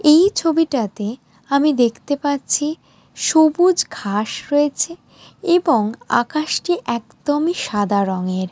এই ছবিটাতে আমি দেখতে পাচ্ছি সবুজ ঘাস রয়েছে এবং আকাশটি একদমই সাদা রঙের।